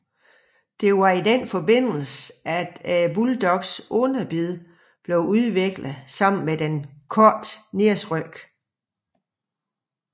Det var i denne forbindelse at bulldogens underbid blev udviklet sammen med den korte næseryg